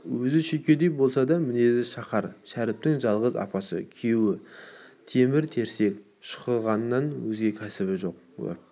өзі шүйкедей болса да мінезі шақар шәріптің жалғыз апасы күйеуі темір-терсек шұқығаннан өзге кәсібі жоқ уәп